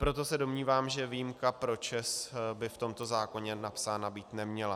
Proto se domnívám, že výjimka pro ČEZ by v tomto zákoně napsána být neměla.